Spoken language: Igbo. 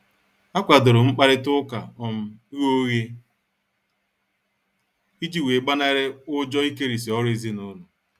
A kwadorom mkparita ụka um ghe oghe iji wee gbanari ụjọ ikerisi ọrụ ezinụlọ.